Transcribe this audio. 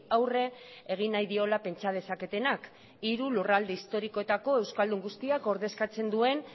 aurre egin nahi diola pentsa dezaketenak hiru lurralde historikoetako euskaldun guztiak ordezkatzen duen